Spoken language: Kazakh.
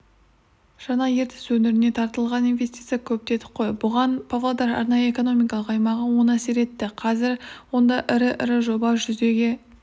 жаңа ертіс өңіріне тартылған инвестиция көп дедік қой бұған павлодар арнайы экономикалық аймағы оң әсер етті қазір онда ірі-ірі жоба жүзеге